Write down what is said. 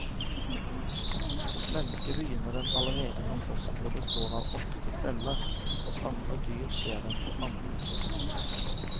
Hos mennesket begynner den allerede når fosteret består av åtte celler, hos andre dyr skjer den på andre trinn.